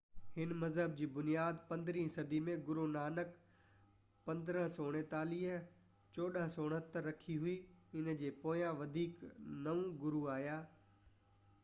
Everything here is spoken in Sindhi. هن مذهب جي بنياد 15 صدي ۾ گرونانڪ 1469–1539 رکي هئي. ان جي پويان وڌيڪ نو گرو آيا